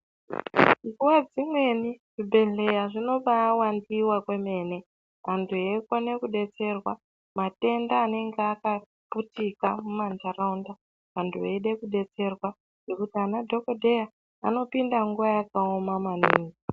Nguva dzimweni zvibhedhlera zvinobawandiwa kwemene antu eikone kudetserwa matenda anenge akaputika mumanharaunda antu eide kudetserwa ngekuti ana dhokodheya anopiinde nguva yakaoma maningi